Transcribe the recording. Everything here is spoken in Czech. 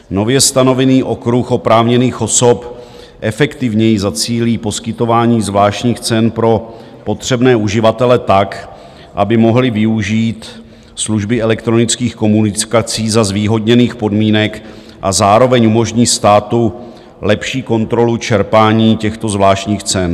Nově stanovený okruh oprávněných osob efektivněji zacílí poskytování zvláštních cen pro potřebné uživatele tak, aby mohli využít služby elektronických komunikací za zvýhodněných podmínek, a zároveň umožní státu lepší kontrolu čerpání těchto zvláštních cen.